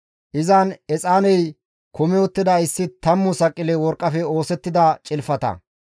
Izan exaaney kumi uttida issi tammu saqile worqqafe oosettida cilfata,